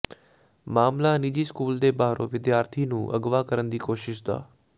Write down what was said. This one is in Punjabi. ਮਾਮਲਾ ਨਿੱਜੀ ਸਕੂਲ ਦੇ ਬਾਹਰੋਂ ਵਿਦਿਆਰਥੀ ਨੂੰ ਅਗਵਾ ਕਰਨ ਦੀ ਕੋਸ਼ਿਸ਼ ਦਾ